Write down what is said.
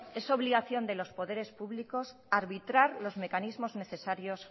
es obligación de los poderes públicos arbitrar los mecanismos necesarios